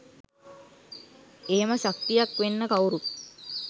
එහෙම ශක්තියක් වෙන්න කවුරුත්